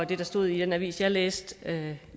det der stod i den avis jeg læste